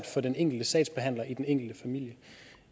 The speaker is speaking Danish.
for den enkelte sagsbehandler i den enkelte familie